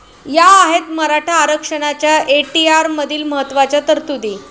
या आहेत मराठा आरक्षणाच्या एटीआरमधील महत्त्वाच्या तरतुदी